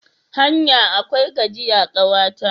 Hanya akwai gajiya, kawa ta.